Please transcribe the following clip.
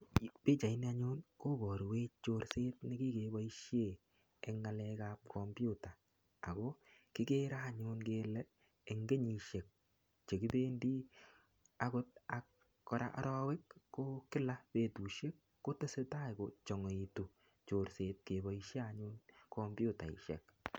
Pichaini anyun kobarwech chorset nekikeboisien eng ngalek ab kompiuta ago kigere anyun kele eng kenyisiek che kipendi agot ak kora arawek ko kila betusiek ko teseta kochangaitu chorset keboisie anyun komputaisiek.